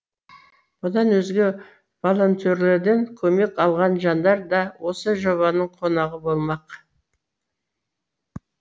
бұдан өзге волентерлерден көмек алған жандар да осы жобаның қонағы болмақ